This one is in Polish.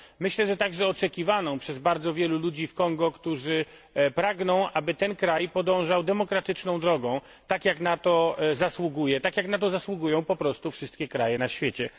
Myślę, że także oczekiwaną przez bardzo wielu ludzi w Kongu, którzy pragną, aby ten kraj podążał demokratyczną drogą, tak jak na to zasługuje, tak jak na to zasługują po prostu wszystkie kraje na świecie.